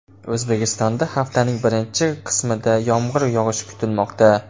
O‘zbekistonda haftaning birinchi qismida yomg‘ir yog‘ishi kutilmoqda.